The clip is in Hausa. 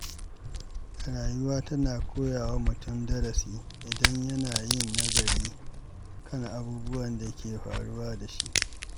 Rayuwa tana koya wa mutum darasi idan yana yin nazari kan abubuwan da ke faruwa da shi.